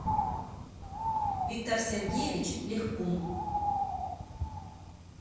виктор сергеевич лехкун